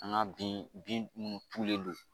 An ga bin bin munnu tulen do